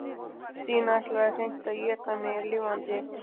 Stína ætlaði hreint að éta mig lifandi.